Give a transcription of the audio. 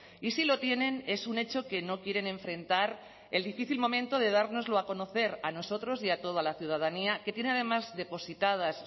y si lo tienen es un hecho que no quieren enfrentar el difícil momento de dárnoslo a conocer a nosotros y a toda la ciudadanía que tiene además depositadas